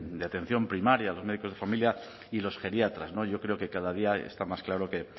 de atención primaria los médicos de familia y los geriatras yo creo que cada día está más claro que